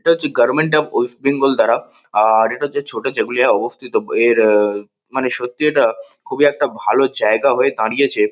এটা হছে government of West Bengal দ্বারা। আর এটা হছে ছোটা জাগুলিয়া অবস্থিত। এর ওঃ-ওঃ মানে সত্যি এটা খুবই একটা ভালো জায়গা হয়ে দাঁড়িয়েছে।